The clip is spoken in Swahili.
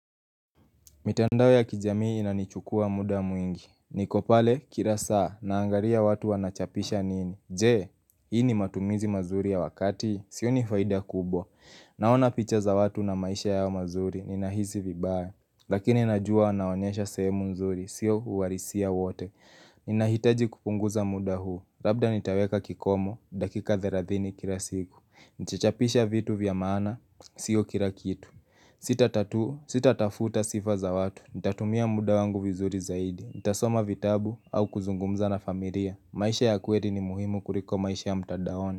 Mitandao ya kijamii inanichukua muda mwingi. Niko pale, kila saa, naangalia watu wanachapisha nini. Je, hii ni matumizi mazuri ya wakati? Sioni faida kubwa. Naona picha za watu na maisha yao mazuri, ninahisi vibaya. Lakini najua anaonyesha sehemu mzuri, sio uhalisia wote. Ninahitaji kupunguza muda huu, labda nitaweka kikomo, dakika 30 kila siku. Nitachapisha vitu vya maana, sio kila kitu. Sita tatua, sitatafuta sifa za watu Nitatumia muda wangu vizuri zaidi Nitasoma vitabu au kuzungumza na familia maisha ya kweli ni muhimu kuliko maisha ya mtandaoni.